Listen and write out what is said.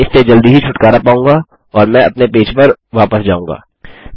मैं इससे जल्दी ही छुटकारा पाऊँगा और मैं अपने पेज पर वापस आऊँगा